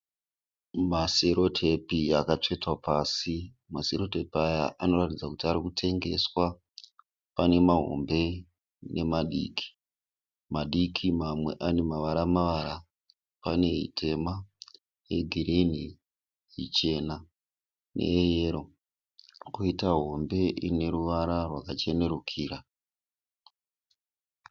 Maserotepi akatsvetwa pasi. Maserotepi aya anoratidza kuti ari kutengeswa. Pane mahombe nemadiki. Madiki mamwe ane mavara mavara. Pane ítema, yegirinhi, ichena neyeyero. Koitawo hombe ine ruvara rwaka chenerukira.